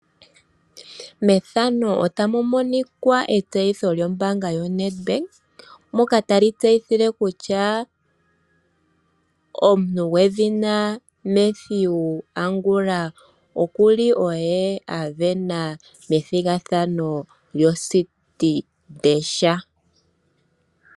Methano otamu monika etsiyitho lyombaanga yo NedBank, moka tali tseyithile kutya omuntu gwedhina Mathew Angula okuli oye a vena methigathano lyo Citi Dash.